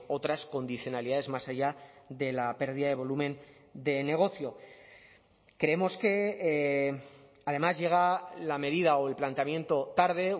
otras condicionalidades más allá de la pérdida de volumen de negocio creemos que además llega la medida o el planteamiento tarde